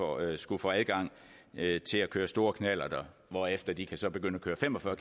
årige skulle få adgang til at køre stor knallert hvorefter de så kan begynde at køre fem og fyrre